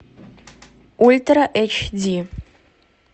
ультра эйч ди